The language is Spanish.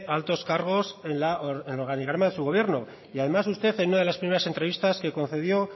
altos cargos en el organigrama de su gobierno y además usted en una de las primeras entrevistas que concedió